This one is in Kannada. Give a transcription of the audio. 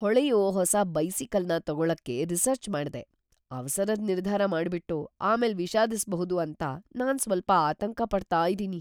ಹೊಳೆಯೋ ಹೊಸ ಬೈಸಿಕಲ್ನ ತಗೊಳ್ಳಕೆ ರಿಸರ್ಚ್ ಮಾಡ್ದೆ ಅವಸರದ್ ನಿರ್ಧಾರ ಮಾಡ್ಬಿಟ್ಟು ಆಮೇಲ್ ವಿಷಾದಿಸ್ಬಹುದು ಅಂತ ನಾನು ಸ್ವಲ್ಪ ಆತಂಕ ಪಡ್ತಾ ಇದ್ದೀನಿ.